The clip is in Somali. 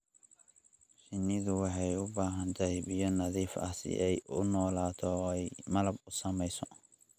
Shinnidu waxay u baahan tahay biyo nadiif ah si ay u noolaato oo ay malab u samayso.